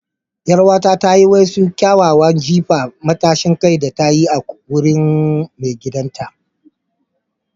Yar'uwata ta yi wasu kyawawa na jifa matashin kai da ta koya a wurin maigidanta.